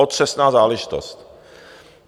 Otřesná záležitost.